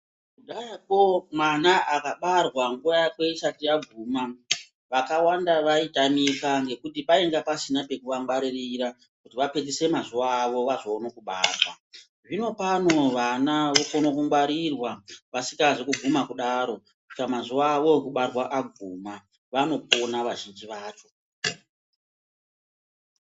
Kudhayako mwana akabarwa nguwa yakwe isati yaguma vakawanda vaitamika ngekuti painge pasina pekuangwaririra kuti apedzise mazuwa avo vazoona kubarwa, zvino pano vana vokona kungwarirwa vasingazi kuguma kudaro kusvika mazuwa awo okubarwa aguma vanopona vazhinji vacho.